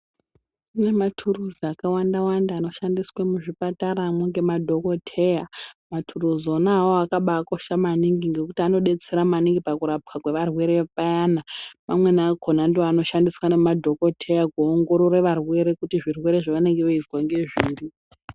Kune maturuzi akawanda wanda anoshandiswe muzvipatara ngemadhokoteya maturuzi ona awawo akabaa kosha maningi ngekuti anodetsera maningi pakurapwa kwevarwere payana amweni akhona ndoanoshandiswa ngemadhokoteya